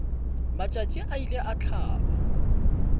matšatši a ile a hlaba